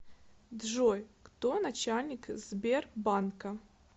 джой кто начальник сбербанка